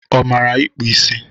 Ọ mara ịkpụ isi?